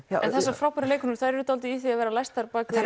þessar frábæru leikkonur þær eru dálítið í því að vera læstar á bak við